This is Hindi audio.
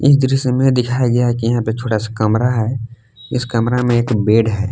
दृश्य में दिखाया गया है कि यहां पे थोड़ा सा कमरा है इस कमरा में एक बेड है।